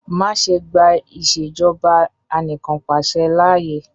Ma ṣe gba Ìṣèjọba Anìkanpàṣẹ laaye!